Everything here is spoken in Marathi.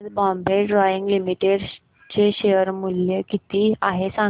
आज बॉम्बे डाईंग लिमिटेड चे शेअर मूल्य किती आहे सांगा